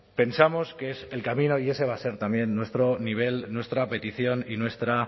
pensamos que es el camino y ese va a ser también nuestro nivel nuestra petición y nuestra